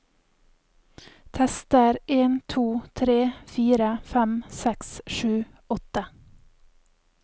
Tester en to tre fire fem seks sju åtte